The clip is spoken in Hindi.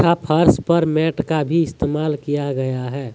यहां फर्श पर मैट का भी इस्तेमाल किया गया है।